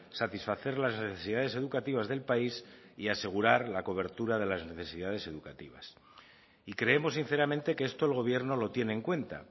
satisfacer las necesidades educativas del país y asegurar la cobertura de las necesidades educativas y creemos sinceramente que esto el gobierno lo tiene en cuenta